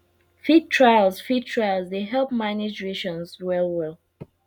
feed trials feed trials dey help manage rations well well